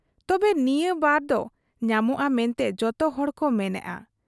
ᱛᱚᱵᱮ, ᱱᱤᱭᱟᱺ ᱵᱟᱨᱫᱚ ᱧᱟᱢᱚᱜ ᱟ ᱢᱮᱱᱛᱮ ᱡᱚᱛᱚᱦᱚᱲᱠᱚ ᱢᱮᱱᱮᱜ ᱟ ᱾